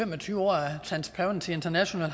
og tyve år af transparency international